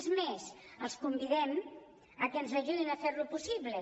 és més els convidem a que ens ajudin a fer ho possible